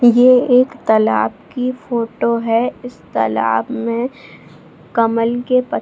ये एक तलाब की फोटो है इस तालाब में कमल के पत --